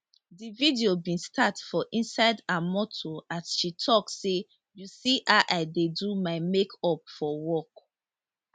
di video bin start for inside her motor as she tok say you see how i dey do my make up for work